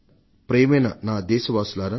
ప్రియమైన దేశవాసులారా